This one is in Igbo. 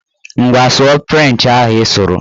Ngwa, sụọ frenchị ahụ ị sụrụ!